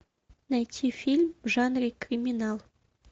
найти фильм в жанре криминал